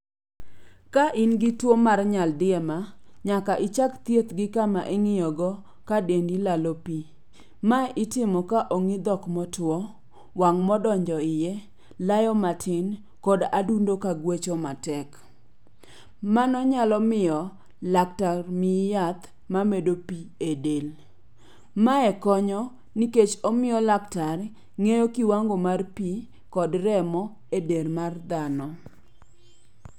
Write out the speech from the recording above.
Ka in gi tuo mar nyaldiema, nyaka ichak thieth gi kama ing'iyogo ka dendi lalo pi. Ma itimo ka ong'i dhok motwo, wang' modonjo iye, layo matin, kod adundo ka gwecho matek. Mano nyalo miyo laktar miyi yath mamedo pi e del. Mae konyo nikech omiyo laktar ng'eyo kiwango mar pi kod remo e del mar dhano.